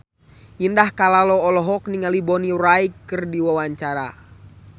Indah Kalalo olohok ningali Bonnie Wright keur diwawancara